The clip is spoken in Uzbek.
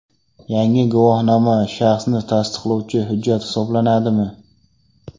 Yangi guvohnoma shaxsni tasdiqlovchi hujjat hisoblanadimi?